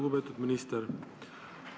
Lugupeetud minister!